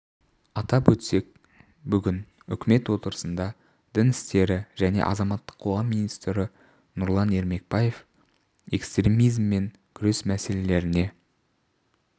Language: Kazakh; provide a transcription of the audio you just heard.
атап өтсек бүгін үкімет отырысында дін істері және азаматтық қоғам министрі нұрлан ермекбаев экстремизммен күрес мәселелеріне